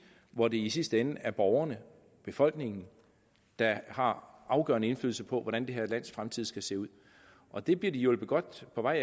hvor det i sidste ende er borgerne befolkningen der har afgørende indflydelse på hvordan det her lands fremtid skal se ud og det bliver de hjulpet godt på vej